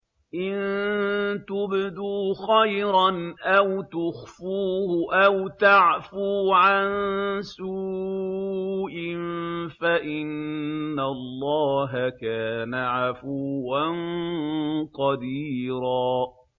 إِن تُبْدُوا خَيْرًا أَوْ تُخْفُوهُ أَوْ تَعْفُوا عَن سُوءٍ فَإِنَّ اللَّهَ كَانَ عَفُوًّا قَدِيرًا